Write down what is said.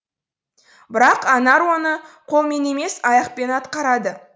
бірақ анар оны қолмен емес аяқпен атқарады